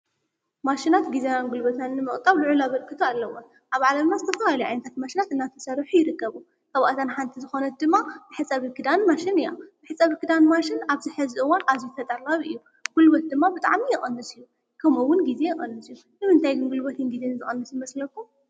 ማሽናት ጊዜናን ጉልበትናን ንምቑጣብ ልዑል ኣበርክቶ ኣለወን፡፡ ኣብ ዓለምና ዝተፈላለዩ ዓይነታት ማሽናት እናተስርሑ ይርከባ፡፡ ካብኣተን ሓንቲ ሓንቲ ዝኾነት ድማ መሕፀቢት ክዳን ማሽን እያ፡፡ መሕፀቢ ክዳን ማሽን ኣብዚ ሕዚ እዋን ኣዝዩ ተጠላቢ እዩ፡፡ ጉልበት ድማ ብጣዕሚ ይቕንስ እዩ፡፡ ከምኡውን ግዜ ይቕንስ እዩ፡፡ ንምንታይ ግን ግዜን ጉልበትን ዝቕንስ ይመስለኩም?